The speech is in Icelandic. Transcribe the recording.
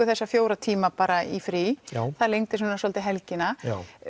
þessa fjóra tíma bara í frí já það lengdi svona svolítið helgina